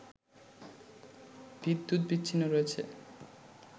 বিদ্যুৎ বিচ্ছিন্ন রয়েছে